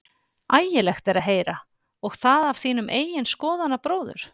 Ægilegt er að heyra, og það af þínum eigin skoðanabróður?